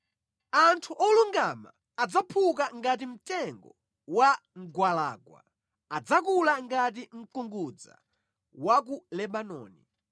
Anthu olungama adzaphuka ngati mtengo wa mgwalangwa, adzakula ngati mkungudza wa ku Lebanoni;